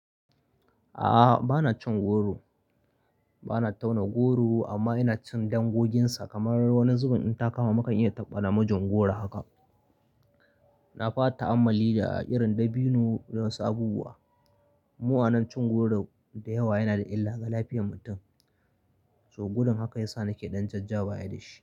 A'a, bana cin goro. Bana tauna goro amma ina cin dangoginsa kamar wani zubin in ta kama, maka in iya taɓa namijin goro haka. Na ba ta ammali da a irin dabino da wasu abubuwa. Mu anan cin goro da yawa yana da illa ga lafiyar mutum, toh gudun haka ya sa nake ɗan jajja baya da shi.